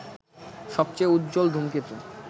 সবচেয়ে উজ্জ্বল ধূমকেতু